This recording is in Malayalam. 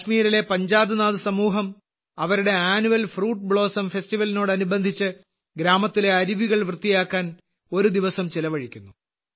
കാശ്മീരിലെ പഞ്ചാധ് നാഗ് സമൂഹം അവരുടെ അന്നുഅൽ ഫ്രൂട്ട് ബ്ലോസോം ഫെസ്റ്റിവൽ നോടനുബന്ധിച്ച് ഗ്രാമത്തിലെ അരുവികൾ വൃത്തിയാക്കാൻ ഒരു ദിവസം ചെലവഴിക്കുന്നു